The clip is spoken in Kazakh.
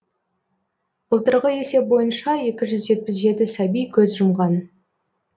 былтырғы есеп бойынша екі жүз жетпіс жеті сәби көз жұмған